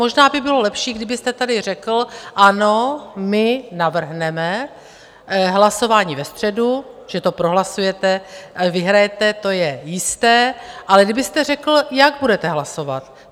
Možná by bylo lepší, kdybyste tady řekl ano, my navrhneme hlasování ve středu, že to prohlasujete, vyhrajete, to je jisté, ale kdybyste řekl, jak budete hlasovat.